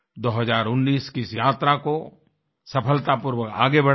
2019 की इस यात्रा को सफलतापूर्वक आगे बढ़ाएँ